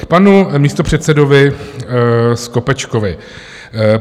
K panu místopředsedovi Skopečkovi.